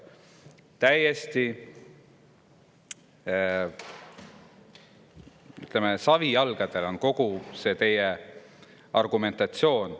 Täiesti savijalgadel on kogu see teie argumentatsioon.